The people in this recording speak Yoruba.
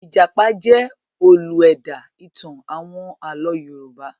Ìjàpá jẹ́ olú ẹ̀dá-ìtàn àwọn àlọ́ Yorùbá.